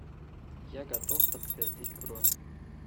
я готов подтвердить бронь